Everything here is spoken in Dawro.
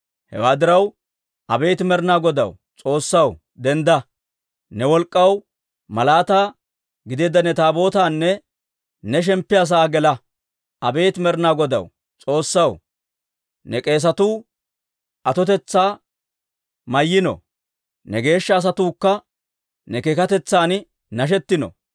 Hewaa diraw, abeet Med'inaa Godaw, S'oossaw, dendda! Ne wolk'k'aw malaataa gideedda ne Taabootaanna ne shemppiyaa sa'aa gela. Abeet Med'inaa Godaw, S'oossaw, ne k'eesatuu atotetsaa mayyiino; ne geeshsha asatuukka ne keekatetsan nashettino.